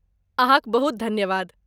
अहाँक बहुत धन्यवाद।